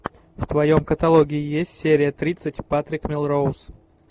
в твоем каталоге есть серия тридцать патрик мелроуз